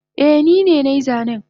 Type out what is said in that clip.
Eh nine nai zanen